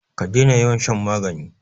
ka dena yawan shan magani!